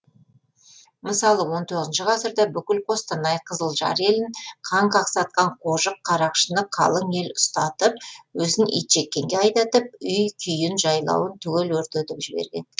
мысалы он тоғызыншы ғасырда бүкіл қостанай қызылжар елін қан қақсатқан қожық қарақшыны қалың ел ұстатып өзін итжеккенге айдатып үй күйін жайлауын түгел өртетіп жіберген